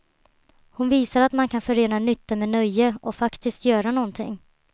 Hon visar att man kan förena nytta med nöje och faktiskt göra någonting.